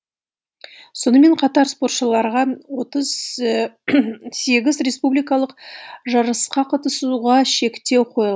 сонымен қатар спортшыларға отыз сегіз республикалық жарысқа қатысуға шектеу қойыл